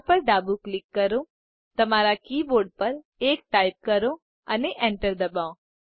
R પર ડાબું click કરો તમારા કી બોર્ડ પર 1 ટાઈપ કરો અને enter દબાવો